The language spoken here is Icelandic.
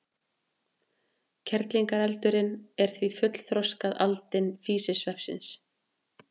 Kerlingareldurinn er því fullþroskað aldin físisveppsins.